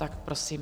Tak prosím.